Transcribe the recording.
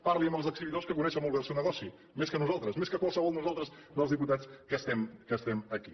parli amb els exhibidors que coneixen molt bé el seu negoci més que nosaltres més que qualsevol de nosaltres dels diputats que estem aquí